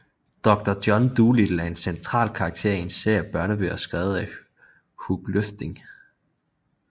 Doctor John Dolittle er en central karakter i en serie af børnebøger skrevet af Hugh Lofting